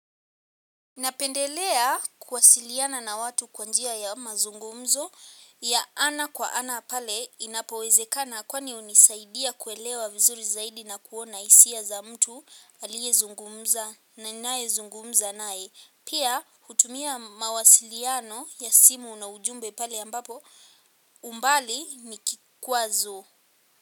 Napendelea kuwasiliana na watu kwa njia ya mazungumzo ya ana kwa ana pale inapowezekana kwani hunisaidia kuelewa vizuri zaidi na kuona hisia za mtu aliyezungumza na ninayezungumza naye. Pia hutumia mawasiliano ya simu na ujumbe pale ambapo umbali ni kikwazo.